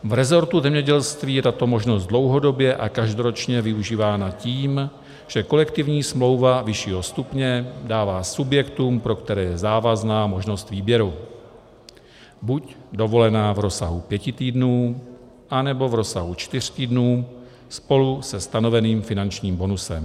V resortu zemědělství je tato možnost dlouhodobě a každoročně využívána tím, že kolektivní smlouva vyššího stupně dává subjektům, pro které je závazná, možnost výběru - buď dovolená v rozsahu pěti týdnů, anebo v rozsahu čtyř týdnů spolu se stanoveným finančním bonusem.